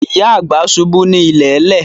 Ìyá àgbà ṣubú ní ilẹ̀lẹ̀